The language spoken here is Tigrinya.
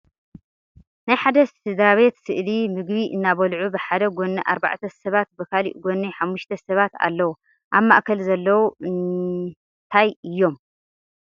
ናይ ሓደ ስድተራ ቤት ስእሊ ምግቢ እናበለዑ ብሓደ ጎኒ ኣርባዕተ ሰባት ብካሊእ ጎኒ ሓሙሽተ ሰባት ኣለዉ ኣብ ማእከል ዘለዉ እንራይ እዮም ?